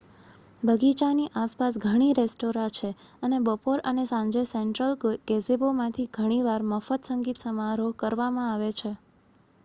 બગીચાની આસપાસ ઘણી રેસ્ટોરાં છે અને બપોર અને સાંજે સેન્ટ્રલ ગેઝેબોમાંથી ઘણી વાર મફત સંગીત સમારોહ કરવામાં આવે છે